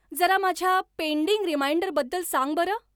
जरा माझ्या पेंडीग रिमाइंडरबद्दल सांग बरं